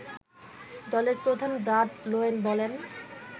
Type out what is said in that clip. দলের প্রধান Brad Loewen বলেন